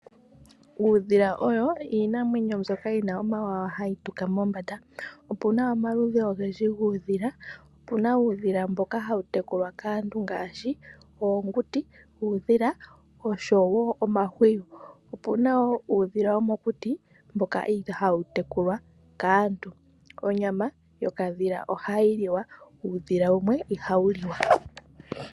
Uudhila owo iinamwenyo mbyoka yina omawawa hayi tuka mombanda, opuna omaludhi ogendji guudhila. Opuna uudhila mboka hawu tekulwa kaantu ngaashi oonguti, uudhila osho wo omahwiyu, opuna woo uudhila womokuti mboka ihaa wutekulwa kaantu. Onyama yokadhila ohayi liwa ashike uudhila wumwe ihawu liwa.